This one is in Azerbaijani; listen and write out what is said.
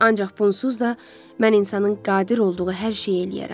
Ancaq bunsuz da mən insanın qadir olduğu hər şeyi eləyərəm.